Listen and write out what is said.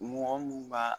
Mɔgɔ mun b'a